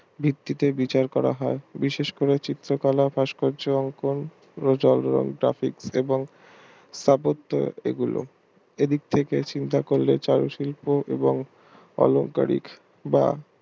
ভিত্তিকে বিচার করা হয় বিশেষ করে চিত্রকলা ভাস্কর্য অঙ্কন এবং স্থাপত্য এগুলো এ দিক থাকে চিন্তা করলে চারু শিল্প এবং অলংকারিক বা